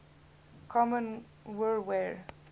kommen wir wer